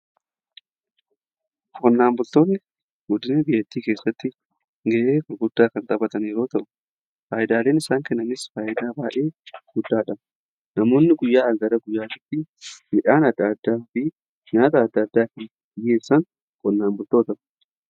Qonnaan bultoonni guddina biyyattii keessatti ga'ee guddaa kan xaphatan yeroo ta'u faayidaaleen isaan kennanis faayidaa baayee guddaadha. Namoonni guyyaa irraa gara guyyaa tti midhaan adda addaafi nyaata adda addaa hin dhiyeessan qonnaan bultoota.